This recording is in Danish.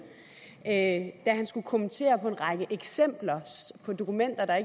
da han skulle kommentere på en række eksempler på dokumenter der